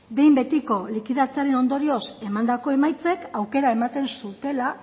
behin betiko likidatzearen ondorioz emandako emaitzek aukera ematen zutela